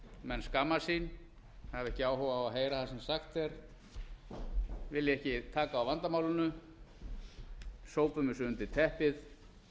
menn skammast sín hafa ekki áhuga á að heyra það sem sagt er vilja ekki taka á vandamálinu sópum þessu undir teppið